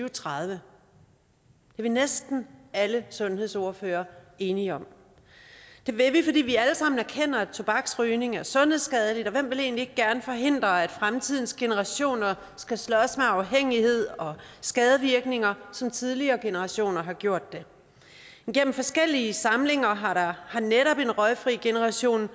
og tredive det er næsten alle sundhedsordførere enige om det vil vi fordi vi alle sammen erkender at tobaksrygning er sundhedsskadeligt og hvem vil ikke gerne forhindre at fremtidens generationer skal slås med afhængighed og skadevirkninger som tidligere generationer har gjort igennem forskellige samlinger har netop en røgfri generation